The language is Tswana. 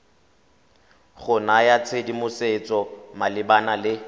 go naya tshedimosetso malebana le